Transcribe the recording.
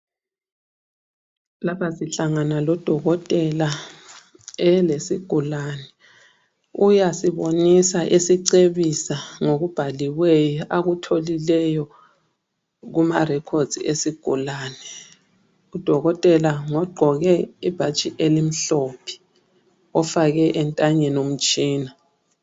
Lapha sihlangana lodokotela elesigulane uyasibonisa esicebisa ngokubhaliweyo, akutholileyo kuma records esigulane. Udokotela ngogqoke ibhatshi elimhlophe, ofake entanyeni umtshina.